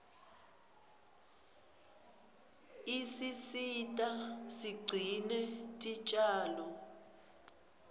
isisita sigcine tinjalo